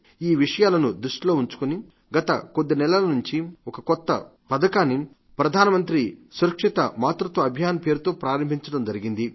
ఈ విషయాలను దృష్టిలో ఉంచుకుని గత కొద్ది నెలల నుండి ఒక్క పథకాన్ని ప్రధానమంత్రి సురక్షిత మాతృత్వ అభియాన్ పేరుతో ప్రారంభించింది